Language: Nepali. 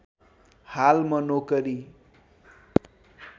हाल म नोकरी